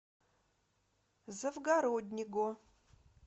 завгороднего